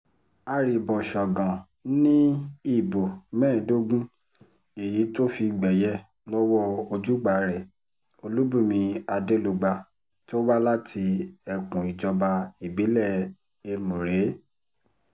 arìbọ̀ṣọ̀gàn ni ìbò mẹ́ẹ̀ẹ́dógún èyí tó fi gbẹ̀yẹ lọ́wọ́ ojúgbà rẹ olùbùnmi adelugba tó wá láti ẹkùn ìjọba ìbílẹ̀ ẹmùrè